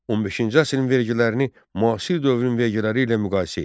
15-ci əsrin vergilərini müasir dövrün vergiləri ilə müqayisə et.